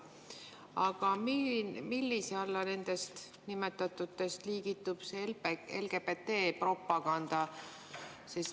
Aga millise alla nendest nimetatutest liigitub LGBT-propaganda?